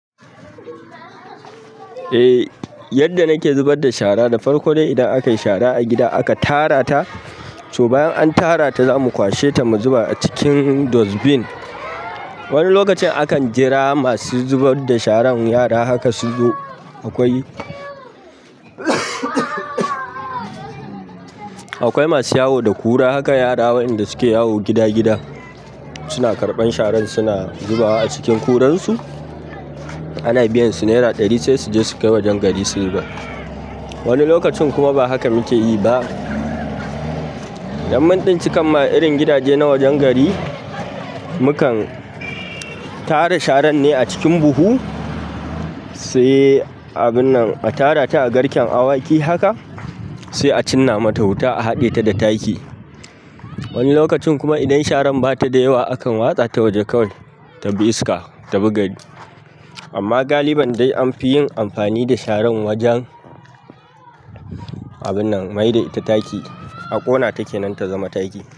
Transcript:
Eh, yadda nake zubar da shara, da farko dai idan akayi shara a gida aka tara ta. So bayan an tara ta zamu kwashe ta mu zuba a cikin dustbin. Wani lokacin akan jira masu zubar da sharan yara haka suzo. Akwai, akwai masu yawo da ƙura, haka yara wayanda suke yawo gida gida suna karɓan sharan suna zubawa a cikin kuransu. Ana biyan su naira ɗari sai suje sukai wajen gari su zuba. Wani lokacin kuma ba haka muke yi ba. Yanban ɗinkin ma irin gidaje na wajen gari, mukan tara sharan ne a cikin buhu sai abunnan a tara ta a garken awaki haka sai a cinna mata wuta a haɗe ta da taki. Wani lokacin kuma idan sharan bata da yawa akan watsa ta waje kawai ta bi iska, ta bi gari. Amma galiban dai anfi yin amfani da sharan wajen abunnan maida ita taki. A ƙona ta kenan ta zama taki.